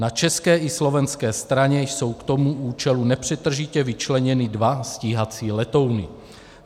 Na české i slovenské straně jsou k tomu účelu nepřetržitě vyčleněny dva stíhací letouny.